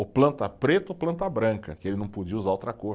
Ou planta preta ou planta branca, que ele não podia usar outra cor.